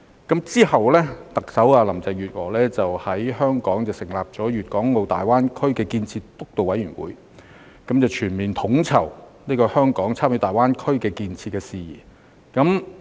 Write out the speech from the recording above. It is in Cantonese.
其後，特首林鄭月娥在香港成立粵港澳大灣區建設督導委員會，全面統籌香港參與大灣區建設的事宜。